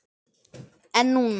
En núna.